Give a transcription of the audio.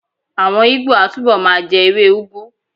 Àwọn Ìgbó á túbọ̀ ma jẹ́ ewé úgú